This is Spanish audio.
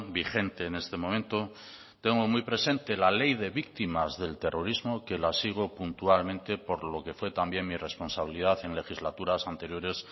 vigente en este momento tengo muy presente la ley de víctimas del terrorismo que la sigo puntualmente por lo que fue también mi responsabilidad en legislaturas anteriores